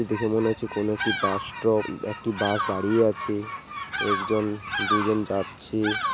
দেখে মনে হচ্ছে কোন একটি বাস স্টপ অ্যাকটি বাস দাঁড়িয়ে আছে একজন দুজন যাচ্ছে ।